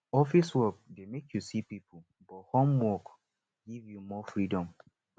office work dey make you see people but home work give you more freedom